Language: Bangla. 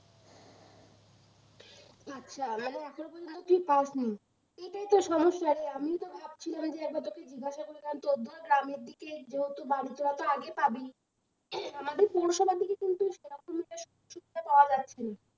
আচ্ছা মানে এখন পযন্ত তুই পাসনি এইটাই তো সমস্যারে আমিও তো ভাবছিলাম যে একবার তোকে জিজ্ঞাসা করলাম, তোর ধর গ্রামের দিকে যেহেতু বাড়ি তোরা তো আগে পাবি আমাদের পৌরসভা থেকে কিন্তু সেরকম একটা শুনতে পাওয়া যাচ্ছে না